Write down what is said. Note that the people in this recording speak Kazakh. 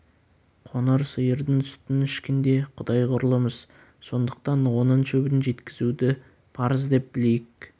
қоңыр сиырдың сүтін ішкенде құдай құрлымыз сондықтан оның шөбін жеткізуді парыз деп білейік